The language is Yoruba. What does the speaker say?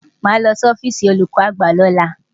Màá lọ sí ọ́fíìsì olùkọ́ àgbà lọ́la.